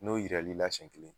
N'o yiral'i la siɲɛ kelen